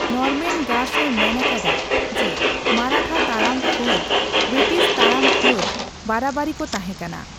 Norman Gash ᱮ ᱢᱮᱱ ᱟᱠᱟᱫᱟ ᱡᱮᱹ ᱢᱟᱨᱟᱴᱷᱟ ᱛᱟᱲᱟᱢ ᱯᱷᱟᱹᱫ ᱵᱨᱤᱴᱤᱥ ᱛᱟᱲᱟᱢ ᱯᱷᱟᱹᱫ ᱵᱟᱨᱟ ᱵᱟᱨᱤ ᱠᱚ ᱛᱟᱦᱮᱸᱠᱟᱱᱟ ᱾